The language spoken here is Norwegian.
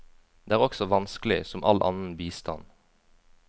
Det er også vanskelig, som all annen bistand.